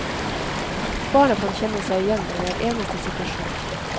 Barna kan kjenne seg igjen i hver eneste situasjon.